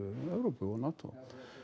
Evrópu og NATO